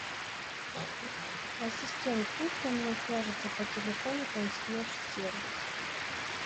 ассистент пусть со мной свяжется по телефону консьерж сервис